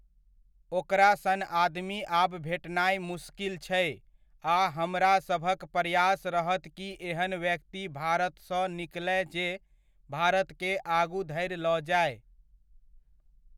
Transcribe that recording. ओकरा सन आदमी आब भेटनाय मुस्किल छै आ हमरा सभक प्रयास रहत कि एहन व्यक्ति भारतसँ निकलय जे भारतकेँ आगु धरि लऽ जाय।